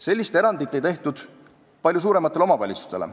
Sellist erandit ei tehtud palju suurematele omavalitsustele.